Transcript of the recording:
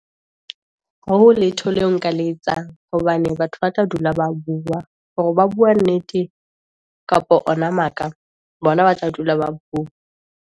Ha ho letho leo nka le etsang, hobane batho ba tla dula ba bua, hore ba bua nnete kapa ona maka, bona ba tla dula ba bua.